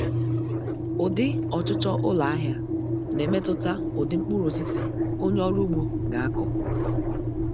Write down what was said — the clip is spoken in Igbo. Ụdị ọchụchọ ụlọahịa na-emetụta ụdị mkpurụosisi onye ọrụ ugbo ga-akọ